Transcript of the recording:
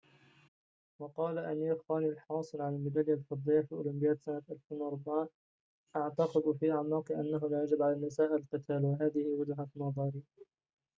وقال أمير خان الحاصل على الميدالية الفضية في أولمبياد سنة 2004 أعتقد في أعماقي أنه لا يجب على النساء القتال وهذه وجهة نظري